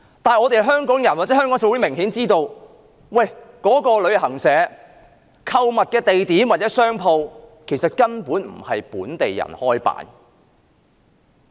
然而，香港人或香港社會明顯知道，旅行團的購物地點或那間商店根本不是由本地人營辦。